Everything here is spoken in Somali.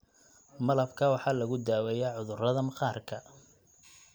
Malabka waxaa lagu daaweeyaa cudurrada maqaarka.